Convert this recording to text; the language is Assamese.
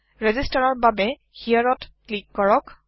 ৰেজিষ্টাৰৰ বাবে hereত ক্লীক কৰক